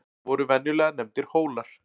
voru venjulega nefndir hólar